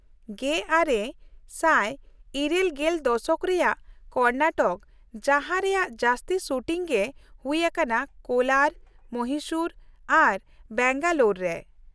᱑᱙᱘᱐ ᱫᱚᱥᱚᱠ ᱨᱮᱭᱟᱜ ᱠᱚᱨᱱᱟᱴᱚᱠ, ᱡᱟᱦᱟᱸ ᱨᱮᱭᱟᱜ ᱡᱟᱹᱥᱛᱤ ᱥᱩᱴᱤᱝ ᱜᱮ ᱦᱩᱭ ᱟᱠᱟᱱᱟ ᱠᱳᱞᱟᱨ, ᱢᱚᱦᱤᱥᱩᱨ ᱟᱨ ᱵᱮᱝᱜᱟᱞᱳᱨ ᱨᱮ ᱾